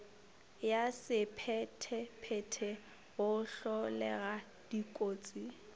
wa sephethephethe go hlolega dikotsi